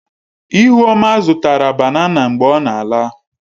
Ihuoma zụtara banana mgbe ọ na-ala.